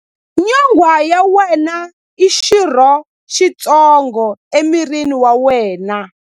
Nyonghwa ya wena i xirho xitsongo emirini wa wena.